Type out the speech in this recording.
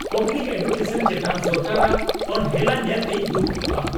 Public education ᱪᱮᱛᱟᱱ ᱥᱚᱨᱠᱟᱨᱟᱜ ᱚᱱᱦᱮᱞᱟ ᱧᱮᱞᱛᱮᱧ ᱫᱩᱠᱩᱜᱼᱟ ᱾